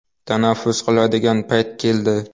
Tanaffus qiladigan payt keldi.